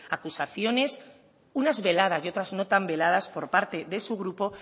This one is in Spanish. acusaciones unas veladas y otras no tan veladas por parte de su grupo